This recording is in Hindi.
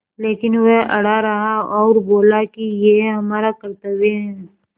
लेकिन वह अड़ा रहा और बोला कि यह हमारा कर्त्तव्य है